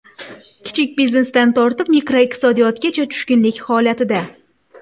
Kichik biznesdan tortib makroiqtisodiyotgacha tushkunlik holatida.